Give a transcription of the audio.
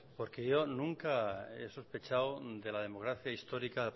porque yo nunca he sospechado de la democracia histórica